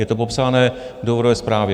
Je to popsáno v důvodové zprávě.